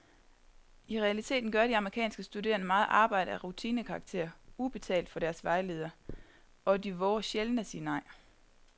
I realiteten gør de amerikanske studerende meget arbejde af rutinekarakter, ubetalt for deres vejleder, og de vover sjældent at sige nej.